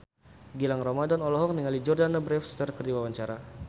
Gilang Ramadan olohok ningali Jordana Brewster keur diwawancara